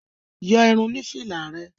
Yọ irun oní fìlà rẹ.